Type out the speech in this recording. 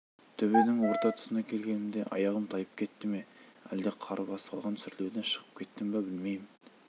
төбенің орта тұсына келгенімде аяғым тайып кетті ме әлде қар басып қалған сүрлеуден шығып кеттім бе білмеймін